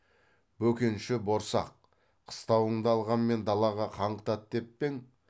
бөкенші борсақ қыстауыңды алғанмен далаға қаңғытады деп пе ең